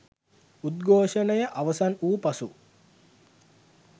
උද්ඝෝෂණය අවසන් වූ පසු